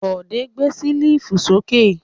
Bọ̀dé gbé ṣẹ́lífù sókè.